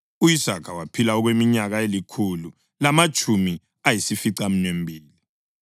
U-Isaka waphila okweminyaka elikhulu lamatshumi ayisificaminwembili.